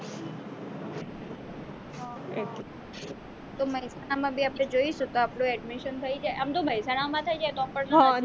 તો મહેસાણા માં બી આપણે જઈશું તો આપણું admission થઈ જાય આમ તો મેહસાણા માં થઈ જાય તો પણ